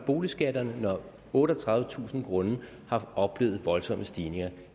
boligskatterne når ejerne af otteogtredivetusind grunde har oplevet voldsomme stigninger